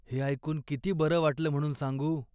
हे एकून किती बरं वाटलं म्हणून सांगू.